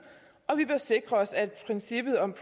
og vi bør sikre os at princippet om